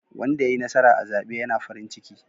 Wanda yayi nasara a zaɓe ya na farin ciki.